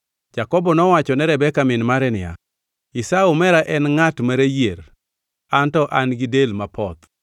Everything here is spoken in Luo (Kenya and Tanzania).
Jakobo nowacho ne Rebeka min mare niya, “Esau omera en ngʼat ma rayier an to an gi del mapoth